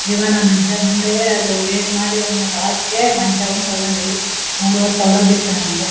ದಿವಾನ ಮಂಚ ನೋಡಿದ್ರೆ ಅದು ರೇಟ್ ಮಾಡಿ ಒಂದ್ ಹಾಸಿಗೆ ಮಂಚ ಒಂದ್ ತಗೊಂಡೀವಿ ಮೂರುವರೆ ಸಾವಿರ ಬಿತ್ತು ನಮ್ಗೆ.